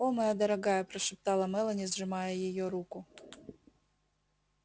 о моя дорогая прошептала мелани сжимая её руку